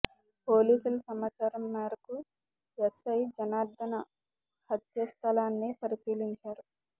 పోలీసుల సమాచారం మేరకు ఎస్ఐ జనార్దన హత్య స్థలాన్ని పరిశీలించారు